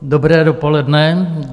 Dobré dopoledne.